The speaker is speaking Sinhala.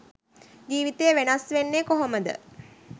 ජීවිතේ වෙනස් වෙන්නේ කොහොමද?